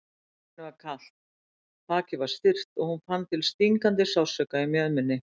Henni var kalt, bakið var stirt og hún fann til stingandi sársauka í mjöðminni.